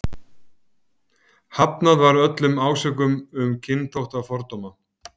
Hafnað var öllum ásökunum um kynþáttafordóma.